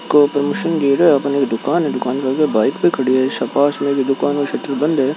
कोई संगीत है अपने दुकान के दुकान अंदर बाईक पे खड़ी है ओर पास में दुकान सेटर बंद है।